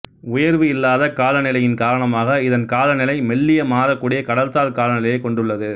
உயர்வு இல்லாத காலநிலையின் காரணமாக இதன் காலநிலை மெல்லிய மாறக்கூடிய கடல்சார் காலநிலையைக் கொண்டுள்ளது